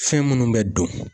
Fɛn minnu bɛ don.